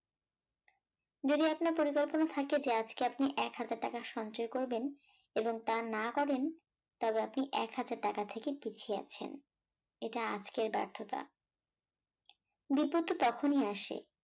যদি আপনার পরিকল্পনা থাকে যে আজকে আপনি এক হাজার টাকা সঞ্চয় করবেন এবং তা না করেন তবে আপনি একহাজার টাকা থেকে পিছিয়ে আছেন, এটা আজকের ব্যর্থতা বিপদ ত তখনই আসে